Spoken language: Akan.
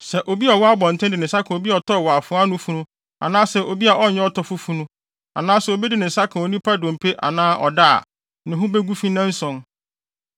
“Sɛ obi a ɔwɔ abɔnten de ne nsa ka obi a ɔtɔɔ wɔ afoa ano funu anaasɛ obi a ɔnyɛ ɔtɔfo funu, anaasɛ obi de ne nsa ka onipa dompe anaa ɔda a, ne ho begu fi nnanson.